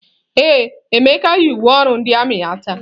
Ee, Emeka yi uwe ọrụ ndị armiị ya taa.